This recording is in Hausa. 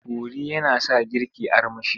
Kori yana sa girki armashi.